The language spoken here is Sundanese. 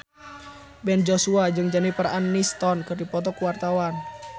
Ben Joshua jeung Jennifer Aniston keur dipoto ku wartawan